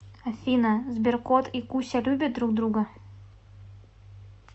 афина сберкот и куся любят друг друга